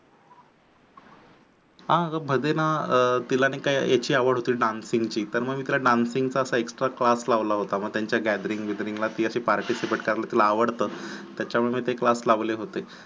हा ग भदीना तिला नाही का याची आवड होती dancing ची मंग मी तिला dancing चा extra class लावला होता मग त्यांच्या gatharing बिदरींग ला तिला participate करायला आवडतं. तच्यामुळे मी ते class लावले होते.